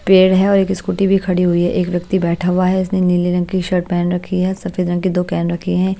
पेड़ है और एक स्कूटी भी खड़ी हुई है एक व्यक्ति बैठा हुआ है इसने नीले रंग की शर्ट पहन रखी है सफेद रंग की दो कैन रखी हैं।